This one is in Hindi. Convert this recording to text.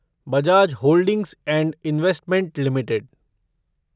Bajaj holdings and investment limited